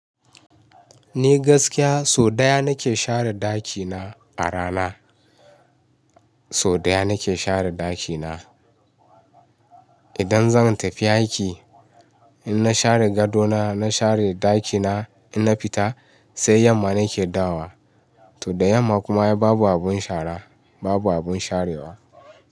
Ni gaskiya sau ɗaya na ke share ɗakina a rana. Sau ɗaya na ke share ɗakina. Idan zan tafi aiki in na share gadona, na share ɗakina in na fita sai yamma na ke dawowa. To da yamma kuma babu abun shara, babu abun sharewa.